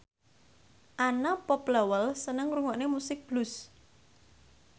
Anna Popplewell seneng ngrungokne musik blues